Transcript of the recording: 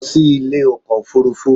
Lọ sí ilé ọkọ̀ òfurufú